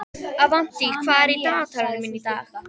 Avantí, hvað er í dagatalinu mínu í dag?